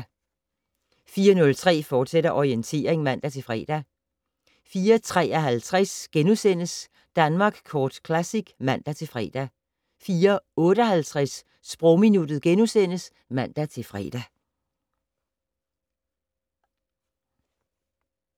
04:03: Orientering, fortsat (man-fre) 04:53: Danmark Kort Classic *(man-fre) 04:58: Sprogminuttet *(man-fre)